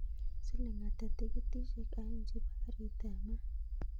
Siling ata tikitishek aeng chepo karit ap maat